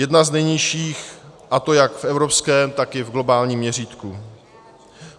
Jedna z nejnižších, a to jak v evropském, tak i v globálním měřítku.